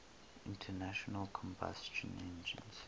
internal combustion engines